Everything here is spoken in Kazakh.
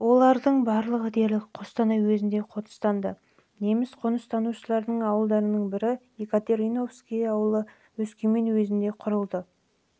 олардың барлығы дерлік қостанай уезінде қоныстанды неміс қоныстанушыларының ауылдарының бірі екатериновский ауылы өскемен уезінде құрылды соның